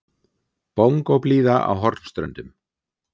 Bongóblíða á Hornströndum.